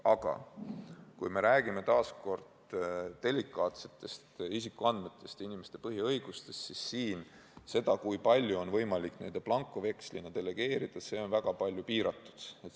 Aga kui me räägime delikaatsetest isikuandmetest ja inimeste põhiõigustest, siis siin on see, kui palju on võimalik n-ö blankovekslina delegeerida, väga palju piiratum.